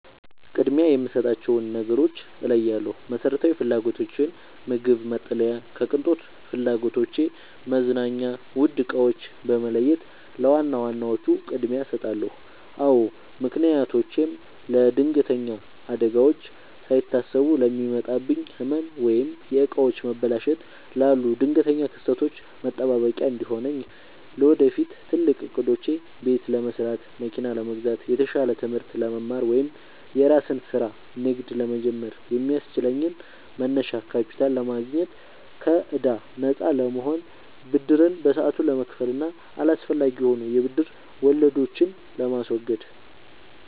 ቅድሚያ የምሰጣቸውን ነገሮች እለያለሁ፦ መሰረታዊ ፍላጎቶቼን (ምግብ፣ መጠለያ) ከቅንጦት ፍላጎቶቼ (መዝናኛ፣ ውድ ዕቃዎች) በመለየት ለዋና ዋናዎቹ ቅድሚያ እሰጣለሁ። አዎ ምክንያቶቼም ለለድንገተኛ አደጋዎች፦ ሳይታሰቡ ለሚመጣብኝ ህመም፣ ወይም የዕቃዎች መበላሸት ላሉ ድንገተኛ ክስተቶች መጠባበቂያ እንዲሆነኝ። ለወደፊት ትልቅ ዕቅዶቼ፦ ቤት ለመስራት፣ መኪና ለመግዛት፣ የተሻለ ትምህርት ለመማር ወይም የራስን ስራ/ንግድ ለመጀመር የሚያስችለኝን መነሻ ካፒታል ለማግኘት። ከከዕዳ ነፃ ለመሆን፦ ብድርን በሰዓቱ ለመክፈል እና አላስፈላጊ የሆኑ የብድር ወለዶችን ለማስወገድ።